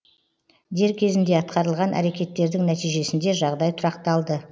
дер кезінде атқарылған әрекеттердің нәтижесінде жағдай тұрақталды